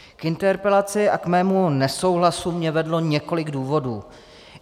K interpelaci a k mému nesouhlasu mě vedlo několik důvodů.